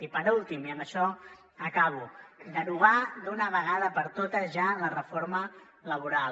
i per últim i amb això acabo derogar d’una vegada per totes ja la reforma laboral